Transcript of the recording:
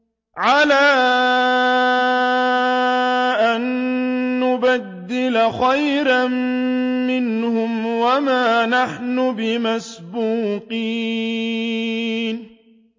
عَلَىٰ أَن نُّبَدِّلَ خَيْرًا مِّنْهُمْ وَمَا نَحْنُ بِمَسْبُوقِينَ